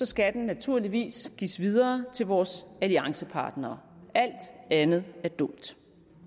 skal den naturligvis gives videre til vores alliancepartnere alt andet er dumt